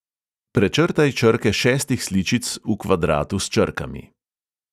Prečrtaj črke šestih sličic v kvadratu s črkami.